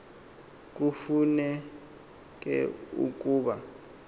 kufu neke ukuba